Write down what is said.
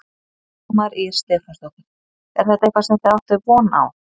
Dagmar Ýr Stefánsdóttir: Er þetta eitthvað sem þið áttuð von á?